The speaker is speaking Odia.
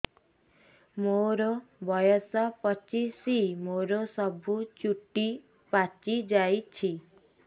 ମୋର ବୟସ ପଚିଶି ମୋର ସବୁ ଚୁଟି ପାଚି ଯାଇଛି